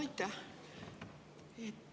Aitäh!